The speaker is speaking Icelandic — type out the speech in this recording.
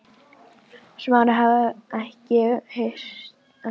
Smári hafði ekki hitt Bóas síðan einhvern tíma á laugar